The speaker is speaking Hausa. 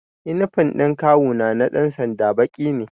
Inifam ɗin kawu na na ɗan sanda baƙi ne